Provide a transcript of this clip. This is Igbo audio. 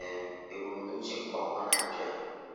um ebumnuche nke ọnwa na-abịa.